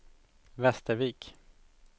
Västervik